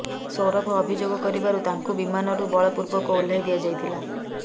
ସୌରଭ ଅଭିଯୋଗ କରିବାରୁ ତାଙ୍କୁ ବିମାନରୁ ବଳପୂର୍ବକ ଓହ୍ଲାଇ ଦିଆଯାଇଥିଲା